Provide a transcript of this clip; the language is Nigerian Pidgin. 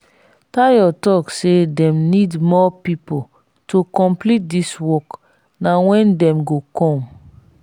tayo talk say dem need more people to complete dis work na when dem go come?